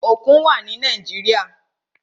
Òkun wà ni Nàíjíríà.